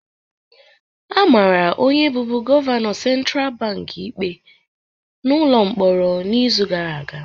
A mara onye bụbu gọvanọ Central Bank ikpe n'ụlọ mkpọrọ n'izu gara aga